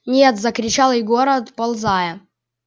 нет закричал егор отползая